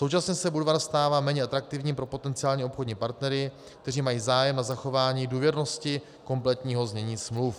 Současně se Budvar stává méně atraktivní pro potenciální obchodní partnery, kteří mají zájem na zachování důvěrnosti kompletního znění smluv.